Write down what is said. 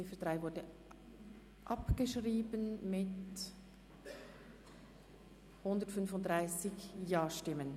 Die Ziffer 3 ist abgeschrieben worden mit 135 Ja-Stimmen.